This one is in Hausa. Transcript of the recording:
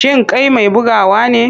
Shin kai mai bugawa ne?